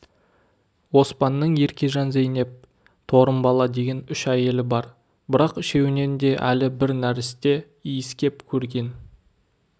оспанның еркежан зейнеп торымбала деген үш әйелі бар бірақ үшеуінен де әлі бір нәресте иіскеп көрген